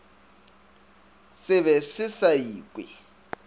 se be se sa ikwe